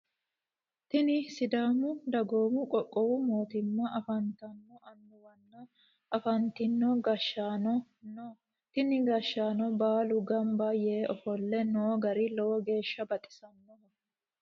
Tinni sidaamu dagoomu qoqqowi mootimma afantino annuwanna afantino gashaano no tinni gashaano baalu ganba yee ofole noo gari lowo geesha baxisanoho.